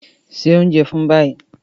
Se oúnjẹ fún ìbejì!